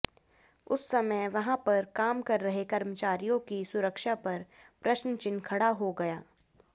उस समय वहां पर काम कर रहे कर्मचारियों की सुरक्षा पर प्रश्नचिन्ह खड़ा हो गया